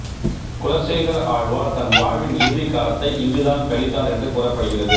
குலசேகர ஆழ்வார் தன் வாழ்வின் இறுதிக் காலத்தை இங்குதான் கழித்தார் என்று கூறப்படுகிறது